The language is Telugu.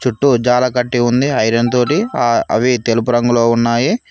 చుట్టూ జాల కట్టి ఉంది ఐరన్ తోటి ఆ అవి తెలుపు రంగులో ఉన్నాయి.